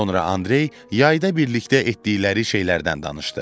Sonra Andrey yayda birlikdə etdikləri şeylərdən danışdı.